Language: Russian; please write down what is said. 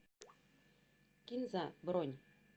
кинза бронь